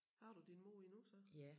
Har du din mor endnu så?